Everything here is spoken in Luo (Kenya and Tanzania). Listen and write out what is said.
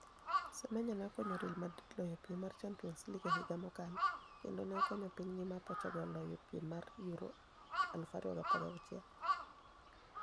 Semeniya ni e okoniyo Real Madrid loyo piem mar Championis League e higa mokalo kenido ni e okoniyo piniygi ma Portugal loyo piem mar Euro 2016.